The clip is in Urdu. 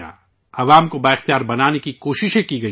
عوام کو بااختیار بنانے کی کوششیں کی گئیں